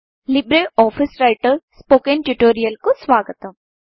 Libre office Writer spoken ట్యుటోరియల్కు స్వాగతం